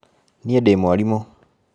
Niĩ ndĩ mwarimũ